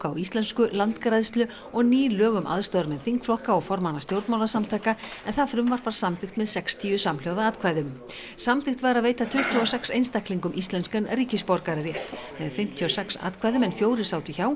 á íslensku landgræðslu og ný lög um aðstoðarmenn þingflokka og formanna stjórnmálasamtaka en það frumvarp var samþykkt með sextíu samhljóða atkvæðum samþykkt var að veita tuttugu og sex einstaklingum íslenskan ríkisborgararétt með fimmtíu og sex atkvæðum en fjórir sátu hjá